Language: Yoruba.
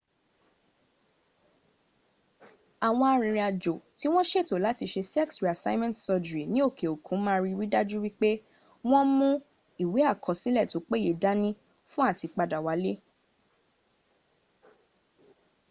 àwọn arìnrìn àjò tí wọ́n ṣètò láti ṣe sex reassignment surgery ní òkè òkun ma ridájú pé wọ́n mú àwọn ìwé àkọsílẹ̀ tó péye dáni fún àti padà wálé